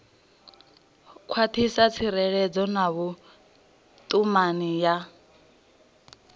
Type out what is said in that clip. khwathisa tserekano na vhutumani ya